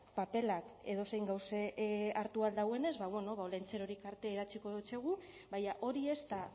papelak edozein gauze hartu ahal dauenez ba bueno ba olentzerori kartea idatziko dotsegu baina hori ez da